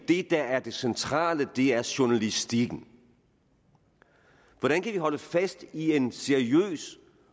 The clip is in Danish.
det der er det centrale er journalistikken hvordan kan vi holde fast i en seriøs